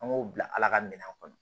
An b'o bila ala ka minɛn kɔnɔ